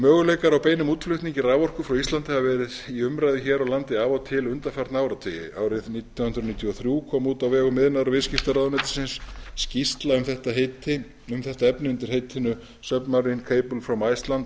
möguleikar á beinum útflutningi raforku frá íslandi hafa verið í umræðu hér á landi af og til undanfarna áratugi árið nítján hundruð níutíu og þrjú kom út á vegum iðnaðar og viðskiptaráðuneytisins skýrsla um þetta efni undir heitinu submarine cable from iceland